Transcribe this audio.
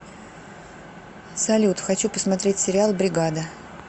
салют хочу посмотреть сериал бригада